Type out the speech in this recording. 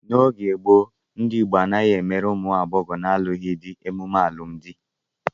N'oge gboo, ndị Igbo anaghị emere ụmụ agbọghọ na-alụghị di emume alụmdi.